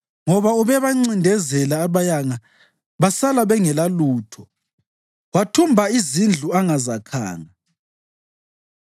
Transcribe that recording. Ngoba ubebancindezela abayanga basala bengelalutho; wathumba izindlu angazakhanga.